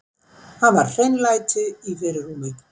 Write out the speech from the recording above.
Hafa hreinlæti í fyrirrúmi.